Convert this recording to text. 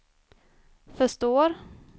förstår